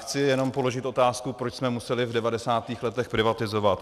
Chci jenom položit otázku, proč jsme museli v 90. letech privatizovat.